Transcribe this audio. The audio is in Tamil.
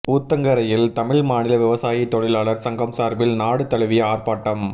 ஊத்தங்கரையில் தமிழ் மாநில விவசாய தொழிலாளா் சங்கம் சாா்பில் நாடு தழுவிய ஆா்ப்பாட்டம்